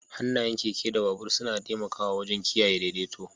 Hannayen keke da babur suna taimakawa wajen kiyaye daidaito.